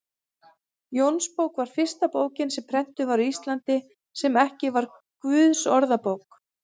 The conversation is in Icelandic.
Jónsbók var fyrsta bókin sem prentuð var á Íslandi, sem ekki var Guðsorðabók.